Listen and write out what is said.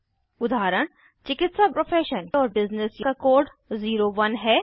उदाहरण चिकित्सा प्रोफेशन और बिज़नेस का कोड 01 है